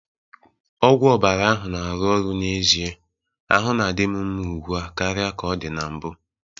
Ọgwụ ọbara ahụ na-arụ ọrụ n'ezie, ahụ na-adị m mma ugbu a karịa ka ọ dị na mbụ